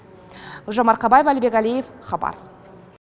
гүлжан марқабаева әлібек әлиев хабар